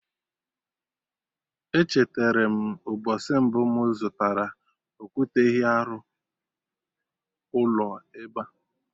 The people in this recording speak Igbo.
Echeterem mgbọsị mbụ mụ zụtara okwute ehi arụ ụlọ ebea